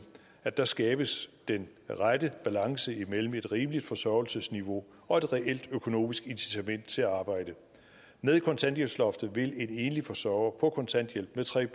at der skabes den rette balance imellem et rimeligt forsørgelsesniveau og et reelt økonomisk incitament til at arbejde med kontanthjælpsloftet vil en enlig forsørger på kontanthjælp med tre